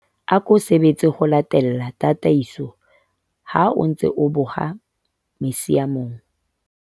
ako sebetse ho latela tataiso ha o ntse o boha misiamong